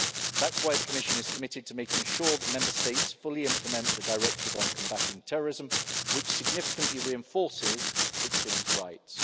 That's why the Commission is committed to making sure that Member States fully implement the Directive on Combating Terrorism, which significantly reinforces victims' rights.